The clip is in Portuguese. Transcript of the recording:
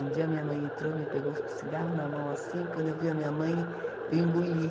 Um dia minha mãe entrou, me pegou com o cigarro na mão, assim, quando eu vi a minha mãe, eu engoli.